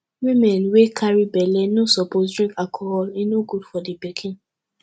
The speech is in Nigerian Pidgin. women wey carry belle no suppose drink alcohol e no good for di pikin